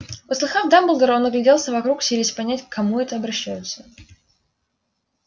услыхав дамблдора он огляделся вокруг силясь понять к кому это обращаются